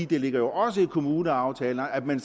det ligger jo også i kommuneaftalen at man